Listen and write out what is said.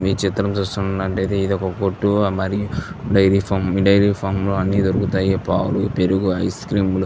ఈ చిత్రం చూస్తున్నట్టయితే ఇది ఒక కొట్టు అది డైరీ ఫామ్ ఈ డైరీ ఫామ్ లో అన్నీ దొరుకుతాయి పాలు పెరుగు ఐస్ క్రీమ్లు --